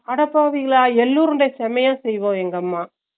அடப்பாவிங்களா எள்ளுருண்டை செமையா செய்வாங்க எங்க அம்மா